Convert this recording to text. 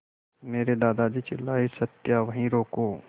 मेरे दादाजी चिल्लाए सत्या वहीं रुको